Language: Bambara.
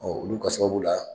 olu ka sababu la